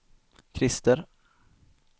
Krister